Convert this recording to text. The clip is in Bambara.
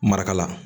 Marakala